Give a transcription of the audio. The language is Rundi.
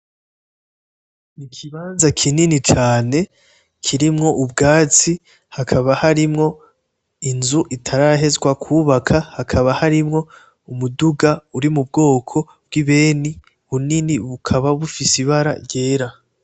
Ikibanza kinini cane kirimwo ubwatsi hakaba harimwo inzu itarahezwa kubakwa, hakaba harimwo umuduga uri mu bwoko bw’ibeni munini ufise ibara ryera.